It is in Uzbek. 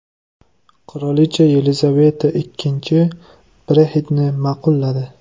Qirolicha Yelizaveta II Brexit’ni ma’qulladi.